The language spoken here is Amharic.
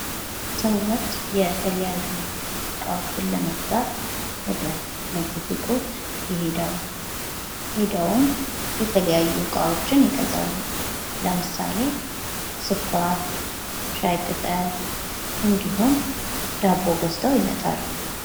ሰዎች የተለያዩ እቃዎችን ለመግዛት ወደ ንግድ ሱቆች ይሄዳሉ። ሄደውም የተለያዩ እቃዎችን ይገዛሉ። ለምሳሌ ስኳር፣ ሻይ ቅጠል እንዲሁም ዳቦ ገዝተው ይመጣሉ።